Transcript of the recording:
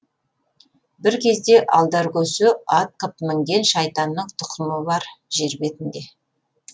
бір кезде алдаркөсе ат қып мінген шайтанның тұқымы бар жер бетінде